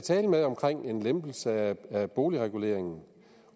at tale med om en lempelse af boligreguleringen